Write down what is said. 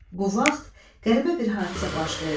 Bu vaxt qəribə bir hadisə baş verdi.